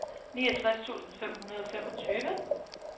niogtres tusind fem hundrede og femogtyve